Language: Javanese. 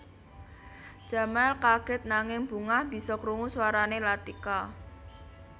Jamal kagèt nanging bungah bisa krungu swarané Latika